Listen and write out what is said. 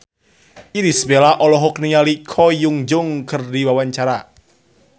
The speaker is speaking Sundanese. Irish Bella olohok ningali Ko Hyun Jung keur diwawancara